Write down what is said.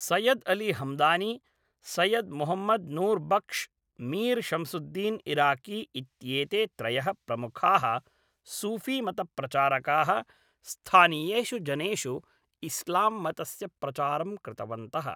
सैय्यद् अली हमदानी, सैय्यद् मुहम्मद् नूर् बक्श्, मीर् शम्सुद्दीन् इराकी इत्येते त्रयः प्रमुखाः सूफ़ीमतप्रचारकाः स्थानीयेषु जनेषु इस्लाम्मतस्य प्रचारं कृतवन्तः।